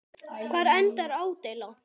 Hvar endar ádeila?